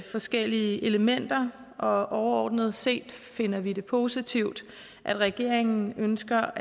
forskellige elementer og overordnet set finder vi det positivt at regeringen ønsker